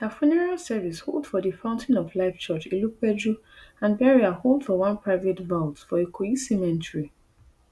her funeral service hold for di fountain of life church ilupeju and burial hold for one private vault for ikoyi cemetery